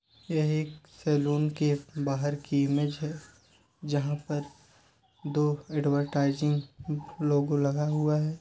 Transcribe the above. यह एक सलून की बाहर की इमेज है जहा पर दो एडवरटाइजिंग लोगो लगाई हुई है।